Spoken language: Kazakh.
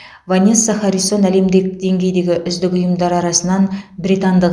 ванесса харрисон әлемдек деңгейдегі үздік ұйымдар арасынан британдық